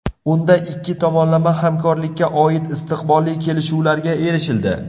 Unda ikki tomonlama hamkorlikka oid istiqbolli kelishuvlarga erishildi.